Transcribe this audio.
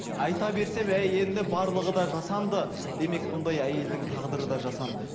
айта берсе енді барлығы да жасанды демек бұндай әйелдің тағдыры да жасанды